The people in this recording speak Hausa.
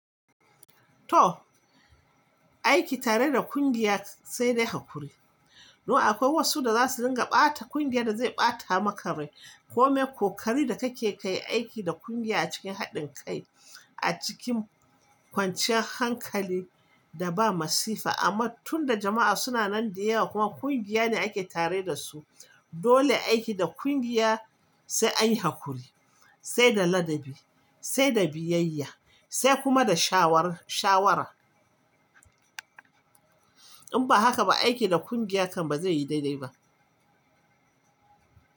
To aiki tare da kungiya sai dai hakuri. No akwai wasu da za su dinga ɓata, kungiyar da zai ɓata maka rai, kome kokari da kake kai aiki da kungiya a cikin haɗin kai a cikin kwanciyar hankali da ba masifa. Amma tunda jama'a suna nan da yawa kuma kungiya ne ake tare da su, dole aiki da kungiya sai an yi hakuri, sai da ladabi, sai da biyayya, sai kuma da shawara. In ba haka ba, aiki da kungiya kam ba zai yi daidai ba.